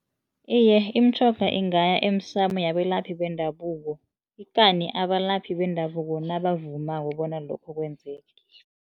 Iye, imitjhoga ingaya emsamo yabelaphi bendabuko, ikani abalaphi bendabuko nabavumako bona lokho kwenzeke.